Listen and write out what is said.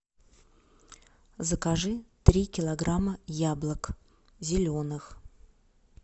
закажи три килограмма яблок зеленых